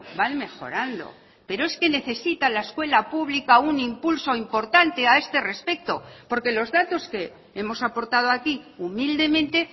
van mejorando pero es que necesita la escuela pública un impulso importante a este respecto porque los datos que hemos aportado aquí humildemente